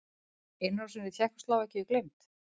Innrásin í Tékkóslóvakíu gleymd?